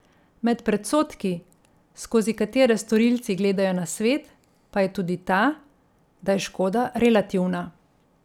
Med predsodki, skozi katere storilci gledajo na svet, pa je tudi ta, da je škoda relativna.